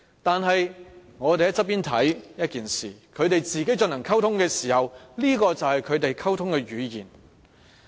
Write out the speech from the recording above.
但是，我們旁觀是一回事，他們進行溝通時，這便是他們溝通的語言。